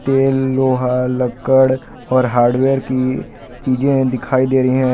ये लोहा लक्कड़ और हार्डवेयर की चीजें दिखाई दे रही हैं।